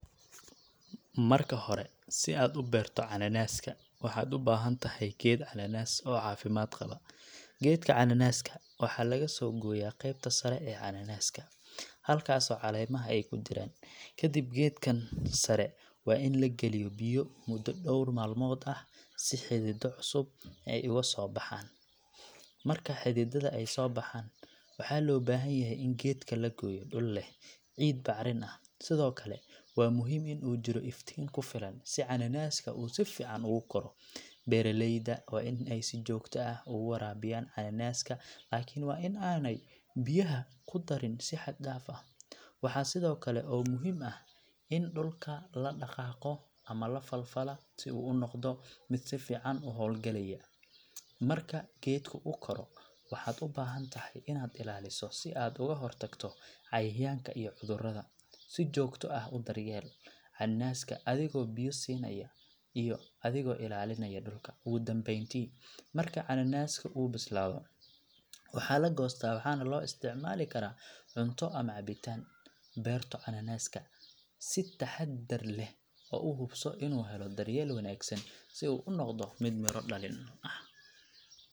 Marka hore, si aad u beerto cananaaska, waxaad u baahan tahay geed cananaas oo caafimaad qaba. Geedka cananaaska waxaa laga soo gooyaa qaybta sare ee cananaaska, halkaasoo caleemaha ay ku jiraan. Kadib, geedkan sare waa in la geliyo biyo muddo dhowr maalmood ah si xididdo cusub ay uga soo baxaan. Marka xididada ay soo baxaan, waxaa loo baahan yahay in geedka la geeyo dhul leh ciid bacrin ah, sidoo kale waa muhiim in uu jiro iftiin ku filan si cananaaska uu si fiican ugu koro. Beeraleyda waa in ay si joogto ah ugu waraabiyaan cananaaska, laakiin waa in aanay biyaha ku darin si xad dhaaf ah. Waxaa kale oo muhiim ah in dhulka la dhaqaaqo ama la falfalaa si uu u noqdo mid si fiican u hawlgalaya. Marka geedku uu koro, waxaad u baahan tahay inaad ilaaliso si aad uga hortagto cayayaanka iyo cudurrada. Si joogto ah u daryeel cananaaska adigoo biyo siinaya iyo adigoo ilaalinaya dhulka. Ugu dambeyntii, marka cananaaska uu bislaado, waxaa la goostaa, waxaana loo isticmaali karaa cunto ama cabitaan. Beerto cananaaska si taxadar leh oo u hubso inuu helo daryeel wanaagsan si uu u noqdo mid miro dhalin leh.